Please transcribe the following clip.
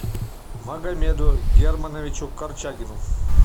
магомеду германовичу корчагину